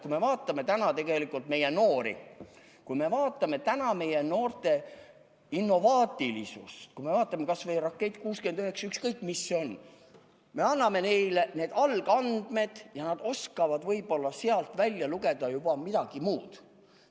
Kui me vaatame täna meie noori, kui me vaatame täna meie noorte innovaatilisust, kui me vaatame kas või "Rakett 69" – ükskõik, mis see on –, me anname neile algandmed ja nad oskavad võib-olla sealt välja lugeda juba midagi muud.